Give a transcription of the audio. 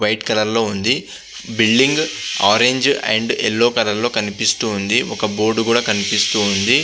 White colour లో ఉంది. Building నారింజ అండ్ బ్లోచ్ల్ సిలోర్ కనిపిస్తుంది. బోర్డు కుడా కనిపిస్తుంది.